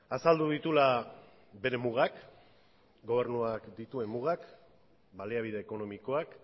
azaldu dituela bere mugak gobernuak dituen mugak baliabide ekonomikoak